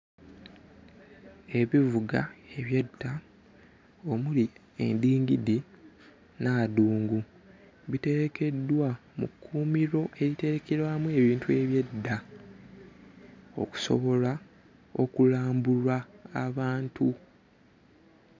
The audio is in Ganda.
Ebivuga eby'edda omuli endingidi n'adungu biterekeddwa mu kkuumiro eriterekerwamu ebintu eby'edda okusobola okulambulwa abantu.